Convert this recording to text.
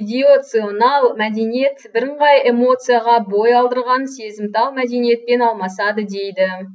идеационал мәдениет бірыңғай эмоцияға бой алдырған сезімтал мәдениетпен алмасады дейді